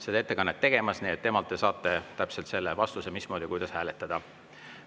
Ta tuleb ettekannet tegema ja temalt te saate vastuse, mismoodi, kuidas hääletada.